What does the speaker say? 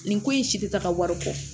Nin ko in si tɛ taa ka wari bɔ